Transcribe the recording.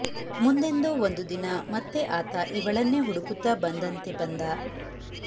ಮುಂದೆಂದೋ ಒಂದು ದಿನ ಮತ್ತೆ ಆತ ಇವಳನ್ನೇ ಹುಡುಕುತ್ತಾ ಬಂದಂತೆ ಬಂದ